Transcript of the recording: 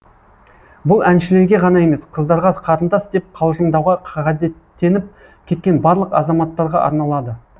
бұл әншілерге ғана емес қыздарға қарындас деп қалжыңдауға ғадеттеніп кеткен барлық азаматтарға арналады